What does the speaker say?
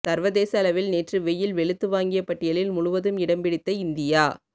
சர்வதேச அளவில் நேற்று வெயில் வெளுத்து வாங்கிய பட்டியலில் முழுவதும் இடம் பிடித்த இந்தியா